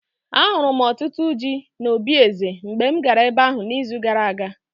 Ahụrụ m ọtụtụ ji n'obí eze mgbe m gara ebe ahụ n'izu gara aga.